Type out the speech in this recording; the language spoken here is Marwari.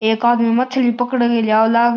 एक आदमी मछली पकड़ के लावे लाग --